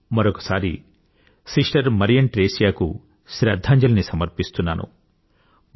నేను మరొక సారి సిస్టర్ మరియం ట్రేసియాకు శ్రధ్ధాంజలిని సమర్పిస్తున్నాను